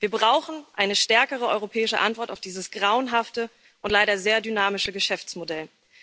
Wir brauchen eine stärkere europäische Antwort auf dieses grauenhafte und leider sehr dynamische Geschäftsmodell.